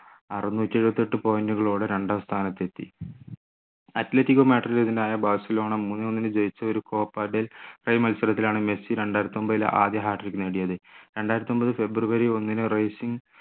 അറുന്നൂറ്റി എഴുപത്തിയെട്ട് point കളോടെ രണ്ടാം സ്ഥാനത്ത് എത്തി അത്ലറ്റികോ മാഡ്രിഡിനെതിരെ ബാഴ്സലോണ മൂന്നേ ഒന്നിന് ജയിച്ച ഒരു copa del rey മത്സരത്തിലാണ് മെസ്സി രണ്ടായിരത്തിയൊമ്പതിലെ ആദ്യ hat trick നേടിയത് രണ്ടായിരത്തിയൊമ്പത് ഫെബ്രുവരി ഒന്നിന് റേസിംഗ്